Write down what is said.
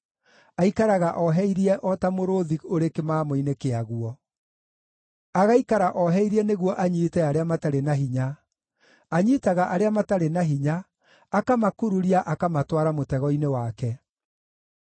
Aikaraga oheirie o ta mũrũũthi ũrĩ kĩmamo-inĩ kĩaguo; agaikara oheirie nĩguo anyiite arĩa matarĩ na hinya; anyiitaga arĩa matarĩ na hinya, akamakururia akamatwara mũtego-inĩ wake.